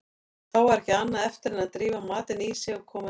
Þá var ekki annað eftir en drífa matinn í sig og koma sér heim.